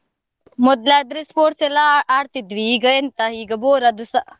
ಮೊದ್ಲು ಆದ್ರೆ sports ಎಲ್ಲ ಆ~ ಆಡ್ತಾ ಇದ್ವಿ, ಈಗ ಎಂತ ಈಗ bore ಅದುಸಾ.